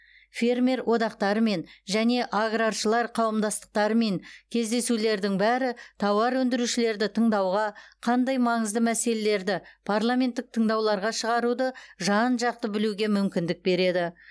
фермер одақтарымен және аграршылар қауымдастықтарымен кездесулердің бәрі тауар өндірушілерді тыңдауға қандай маңызды мәселелерді парламенттік тыңдауларға шығаруды жан жақты білуге мүмкіндік береді